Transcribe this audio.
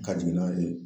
Ka jigin n'a ye